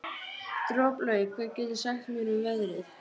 Droplaug, hvað geturðu sagt mér um veðrið?